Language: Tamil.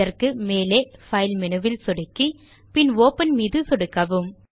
இதற்கு மேலே பைல் மெனுவில் சொடுக்கி பின் ஒப்பன் மீது சொடுக்க வேண்டும்